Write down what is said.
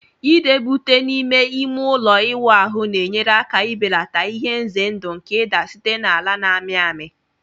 Idebe ute n'ime ime ụlọ ịwụ ahụ na-enyere aka belata ihe ize ndụ nke ịda site na ala na-amị amị